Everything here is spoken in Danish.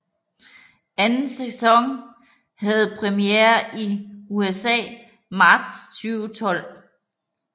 Anden sæson havde præmiere i USA marts 2012